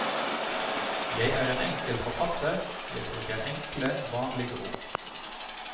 Jeg er en enkel forfatter, jeg bruker enkle, vanlige ord.